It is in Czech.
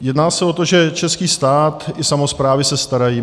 Jedná se o to, že český stát i samosprávy se starají.